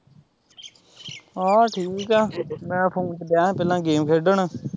ਹਾਂ ਠੀਕ ਐ ਮੈਂ ਫੁਨ ਤੇ ਡਿਆ ਸੀ ਪਹਿਲਾਂ game ਖੇਡਣ